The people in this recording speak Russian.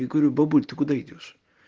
я говорю бабуль ты куда идёшь